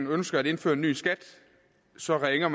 ønsker at indføre en ny skat så bare ringer